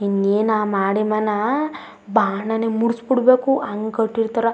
ಇನ್ನೇನ್ ಆ ಮಾಡಿ ಮನ ಬಾಣನೇ ಮೂರ್ಸ್ ಬಿಡಬೇಕು ಹಂಗ್ ಕಟ್ಟಿರ್ತರ್.